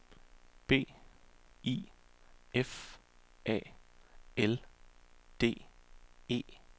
B I F A L D E